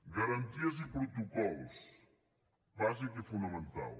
garanties i protocols bàsic i fonamental